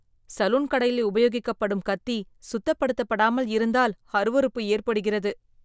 Salon கடையில் உபயோகிக்கப்படும் கத்தி சுத்தப்படுத்தாமல் இருந்தால் அருவருப்பு ஏற்படுகிறது.